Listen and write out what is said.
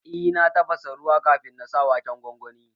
Eh na tafasa ruwa kafin na sa waken gwangwanin